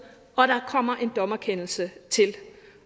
og der kommer en dommerkendelse til